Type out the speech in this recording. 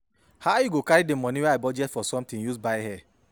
how you go carry money wer I budget for sometin use buy hair